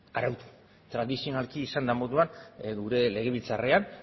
arautu tradizionalki esan den moduan gure legebiltzarrean